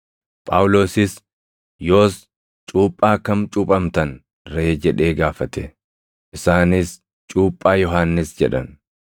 Phaawulosis, “Yoos cuuphaa kami cuuphamtan ree?” jedhee gaafate. Isaanis, “Cuuphaa Yohannis” jedhan.